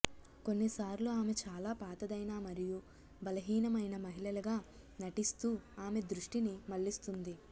కొన్నిసార్లు ఆమె చాలా పాతదైన మరియు బలహీనమైన మహిళగా నటిస్తూ ఆమె దృష్టిని మళ్ళిస్తుంది